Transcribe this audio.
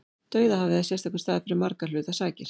Dauðahafið er sérstakur staður fyrir margra hluta sakir.